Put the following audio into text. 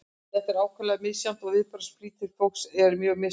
þetta er þó ákaflega misjafnt og viðbragðsflýtir fólks er mjög mismunandi